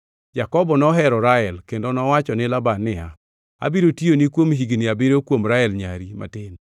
Jakobo nohero Rael, kendo nowacho ni Laban niya, “Abiro tiyoni kuom higni abiriyo kuom Rael nyari matin.”